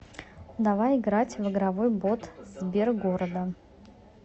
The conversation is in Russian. давай играть в игровой бот сбергорода